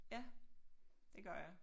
Ja det gør det